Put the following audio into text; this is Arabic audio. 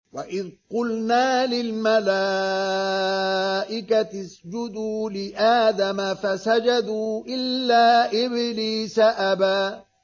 وَإِذْ قُلْنَا لِلْمَلَائِكَةِ اسْجُدُوا لِآدَمَ فَسَجَدُوا إِلَّا إِبْلِيسَ أَبَىٰ